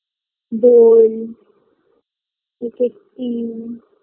Bowl, cake -এর tin